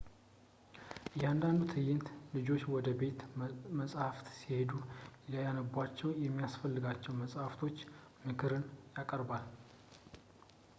እያንዳንዱ ትዕይንት ልጆች ወደ ቤተ መጽሀፍት ሲሄዱ ሊያነቧቸው የሚያስፈልጋቸው ለመጽሀፍቶች ምክርን ያቀርባል